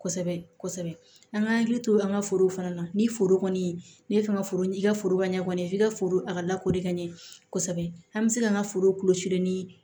Kosɛbɛ kosɛbɛ an ka hakili to an ka forow fana na ni foro kɔni ne fɛ ka foro ɲi ka foroba ɲɛ kɔni f'i ka foro a ka lakori ka ɲɛ kosɛbɛ an bɛ se ka an ka foro kɔlɔsi ni